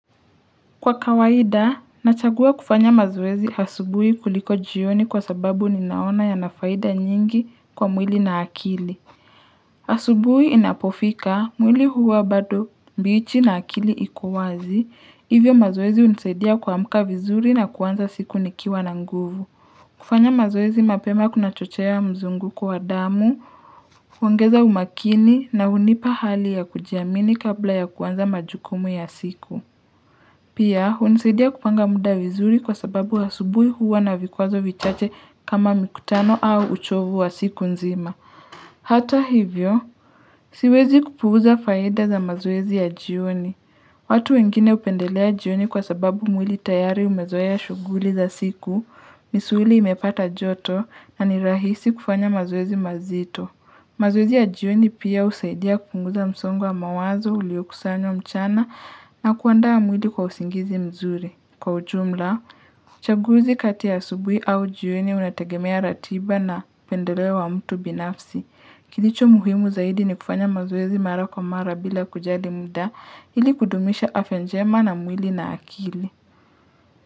Kwa kawaida, nachagua kufanya mazoezi asubuhi kuliko jioni kwa sababu ninaona ya nafaida nyingi kwa mwili na akili. Asubuhi inapofika, mwili huwa bado mbichi na akili ikowazi, hivyo mazoezi hunisaidia kuamka vizuri na kuanza siku nikiwa na nguvu. Kufanya mazoezi mapema kuna chochea mzunguko wa damu, huongeza umakini na hunipa hali ya kujiamini kabla ya kuanza majukumu ya siku. Pia, hunisaidia kupanga muda vizuri kwa sababu zsubuhi huwa na vikwazo vichache kama mikutano au uchovu wa siku nzima. Hata hivyo, siwezi kupuuza faida za mazoezi ya jioni. Watu wengine hupendelea jioni kwa sababu mwili tayari umezoea shughuli za siku, misuli imepata joto na nirahisi kufanya mazoezi mazito. Mazoezi ya jioni pia husaidia kupunguza msongo wa mawazo uliokusanywa mchana na kuandaa mwili kwa usingizi mzuri. Kwa ujumla, chaguzi kati ya asubuhi au jioni unategemea ratiba na upendeleo wa mtu binafsi. Kilicho muhimu zaidi ni kufanya mazoezi mara kwa mara bila kujali muda ili kudumisha afya njema na mwili na akili.